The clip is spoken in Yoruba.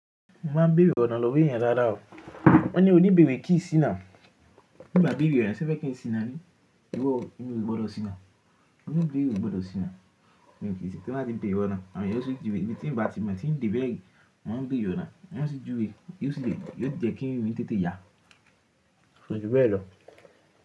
Mo máa ń bèrè ọ̀na lọ́wọ́ èèyàn dáadáa o. Wọ́n ní o ní ìbéèrè kí n sì náà. Bí n bá bèere ona, sẹ̀ fe n kí n sì náà nii. Irọ o, èmi ò gbọ́dọ̀ ṣìná. Oni ibeere ò gbọ́dọ̀ ṣìná. Mi ò kí ń ṣìná tí n bá ti beere ọ̀na. Àwọn èèyàn o sì ju ìwé. Ibi tí ń ba tí mo tí ń de bẹ́ri, mo mo ń beere ọ̀rọ̀ náà. Wọn sì ju ìwé. Yoo ṣi jẹ́ kín irin mi tètè ya? Koju bẹ́ẹ̀ lọ?